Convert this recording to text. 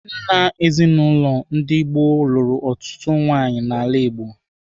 Nna ezinaụlọ ndị gboo lụrụ ọtụtụ nwaanyị n'ala Igbo.